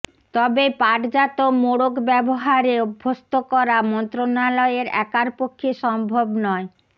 তবে পাটজাত মোড়ক ব্যবহারে অভ্যস্ত করা মন্ত্রণালয়ের একার পক্ষে সম্ভব নয়